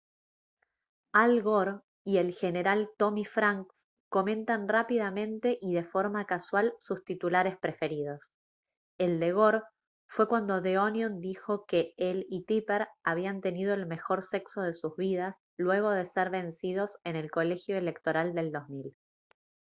al gore y el general tommy franks comentan rápidamente y de forma casual sus titulares preferidos el de gore fue cuando the onion dijo que él y tipper habían tenido el mejor sexo de sus vidas luego de ser vencidos en el colegio electoral del 2000